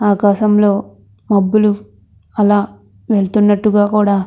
ఆకాశం లో మబ్బులు అలా వెళ్తున్నట్టుగా కూడా --